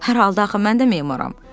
Hər halda axı mən də memaram.